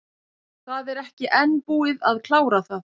Það er ekki enn búið að klára það.